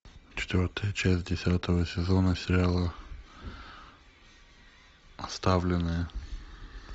четвертая часть десятого сезона сериала оставленное